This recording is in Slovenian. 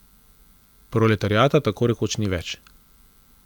Proletariata tako rekoč ni več.